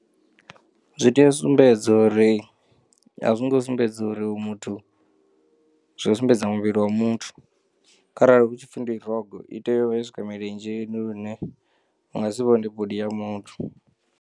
Zwi tea u sumbedza uri a zwi ngo sumbedza uri hoyu muthu zwi u sumbedza muvhili wa muthu kharali hu tshi pfhi ndi rogo i tea u vha ya swika milenzheni lune unga si vhone bodi ya muthu.